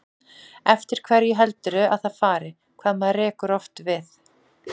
Eftir hverju heldurðu að það fari, hvað maður rekur oft við?